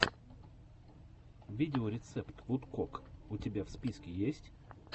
видеорецепт вудкок у тебя в списке есть